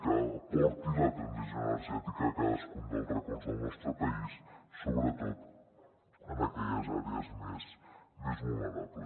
que porti la transició energètica a cadascun dels racons del nostre país sobretot a aquelles àrees més vulnerables